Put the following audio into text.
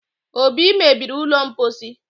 obi mebiri ụlọ mposi